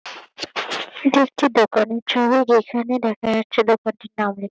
এটা একটি দোকান এর ছবি যেখানে দেখা যাচ্ছে দোকানটির নাম লে --